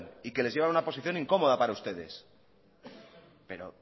y que les llevan a una posición incómoda para ustedes pero